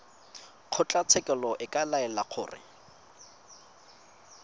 kgotlatshekelo e ka laela gore